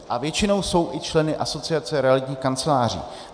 A většinou jsou i členy Asociace realitních kanceláří.